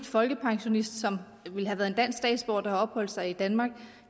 folkepensionist som ville have været en dansk statsborger der opholdt sig i danmark